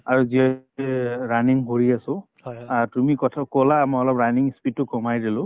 আৰু যিহেতুকে running কৰি আছো তুমি কথা কলা মই অলপ running speed তো কমাই দিলো